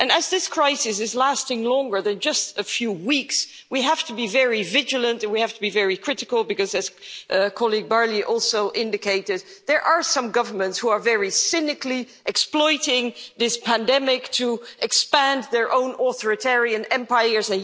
And, as this crisis is lasting longer than just a few weeks, we have to be very vigilant and we have to be very critical because, as Ms Barley also indicated, there are some governments who are very cynically exploiting this pandemic to expand their own authoritarian empires.